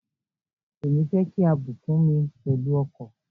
Èmi fẹ́ kí a bùkún mi pẹ̀lú ọkọ̀.